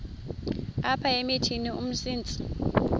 apha emithini umsintsi